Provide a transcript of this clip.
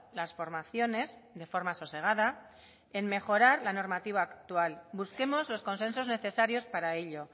las formaciones de forma sosegada en mejorar la normativa actual busquemos los consensos necesarios para ello